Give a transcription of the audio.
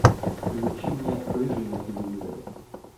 включи мне рыжий на телевизоре